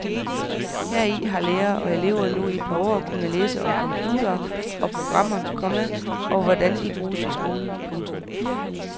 Heri har lærere og elever nu i et par år kunne læse om computere og programmer, komma og hvordan de kan bruges i skolen. punktum